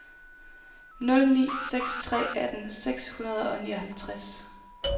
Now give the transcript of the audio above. nul ni seks tre atten seks hundrede og nioghalvtreds